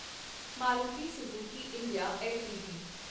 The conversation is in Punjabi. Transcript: Maruti Suzuki India LTD